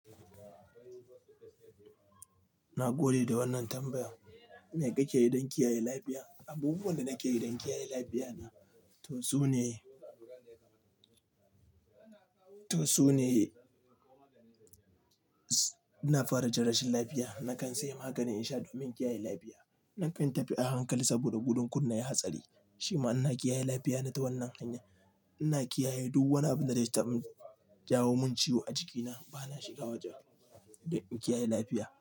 Na gode da wannan tambaya. Me kake yi don kiyaye lafiya? Abubuwan da nake yi don kiyaye lafiya na to sune, to sune ina fara jin rashin lafiya. Nakan saya maganin in sha domin kiyaye lafiya. Nakan tafi a hankali saboda gudun kunna hatsari. Shima ina kiyaye lafiya na ta wannan hanya. Ina kiyaye duk wani abu da nai ta bo jawo min ciwo a jikina. Bana shiga waje don in kiyaye lafiya.